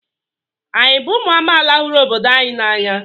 Anyị bụ ụmụ amaala hụrụ obodo anyị n'anya?